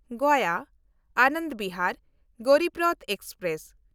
Gaya Anand Vihar Garib Rath express